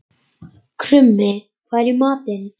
Krummi, hvað er í matinn?